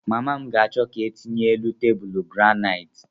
Mama ga-achọ ka etinye elu tebụlu granaiiti.